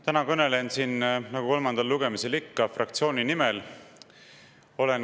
Täna kõnelen siin, nagu kolmandal lugemisel ikka, fraktsiooni nimel.